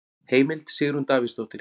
Heimild: Sigrún Davíðsdóttir.